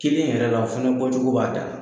Kelen yɛrɛ la o fɛnɛ bɔ cogo b'a danna.